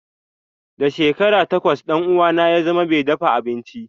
Da shekara takwas ɗan uwana ya zama mai dafa abinci.